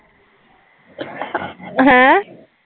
ਹੈਂ